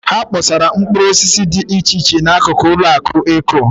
Ha kpọsara mkpụrụosisi dị iche iche n'akụkụ ụlọakụ Eko.